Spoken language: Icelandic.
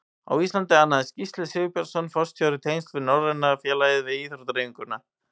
Á Íslandi annaðist Gísli Sigurbjörnsson forstjóri tengsl við Norræna félagið fyrir íþróttahreyfinguna.